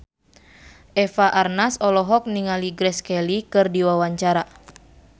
Eva Arnaz olohok ningali Grace Kelly keur diwawancara